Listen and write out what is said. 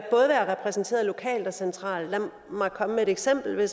repræsenteret lokalt og centralt lad mig komme med et eksempel man